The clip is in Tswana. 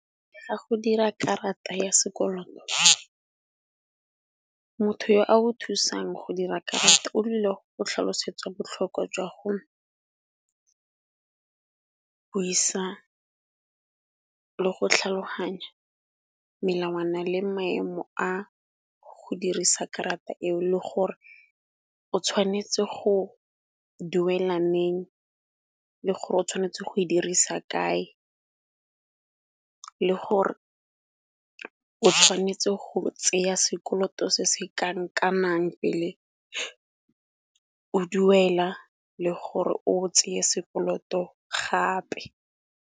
Ka go dira karata ya sekoloto, motho yo a o thusang go dira karata o tlile go tlhalosetsa botlhokwa jwa go buisa le go tlhaloganya melawana le maemo a go dirisa karata eo. Le gore o tshwanetse go duela neng, le gore o tshwanetse go e dirisa kae le gore o tshwanetse go tseya sekoloto se se ka nka nnang pele o duela le gore o tseye sekoloto gape.